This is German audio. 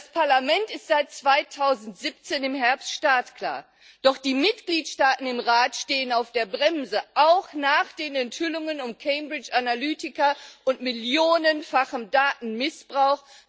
Das Parlament ist seit Herbst 2017 startklar, doch die Mitgliedstaaten im Rat stehen auf der Bremse, auch nach den Enthüllungen um Cambridge Analytica und millionenfachen Datenmissbrauch.